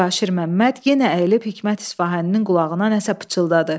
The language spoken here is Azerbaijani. Mübaşir Məmməd yenə əyilib Hikmət İsfahaninin qulağına nə isə pıçıldadı.